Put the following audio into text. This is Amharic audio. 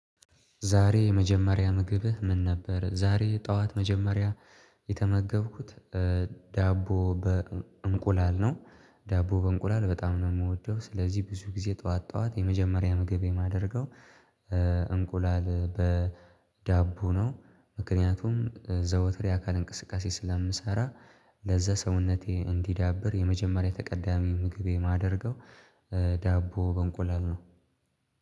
ዛሬ የመጀመሪያ ምግብህ ምን ነበር? ዛሬ ጠዋት መጀመሪያ የተመገብኩት ዳቦ በእንቁላል ነው። ዳቦ በእንቁላል በጣም ነው የምወደው ስለዚህ ብዙ ጊዜ ጠዋት ጠዋት የመጀመሪያ ምግቤ የማደርገው እንቁላል በዳቦ ነው። ምክንያቱም ዘወትር የአካል እንቅስቃሴ ስለምሰራ ለዛ ሰውነቴ እንዲዳብር የመጀመሪያ ተቀዳሚ ምግቤ የማደርገው። ዳቦ በእንቁላል ነው።